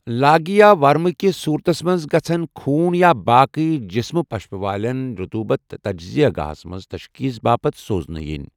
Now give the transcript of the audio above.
لاگہِ یا ورمٕہٕ كِس صوٗرتس منٛز گژھن ، خوٗن یا باقی جسمہ پشپہ وٲلن رطوٗبت تجزییہ گاہس منز تشخیص باپت سوزنہٕ یِنۍ ۔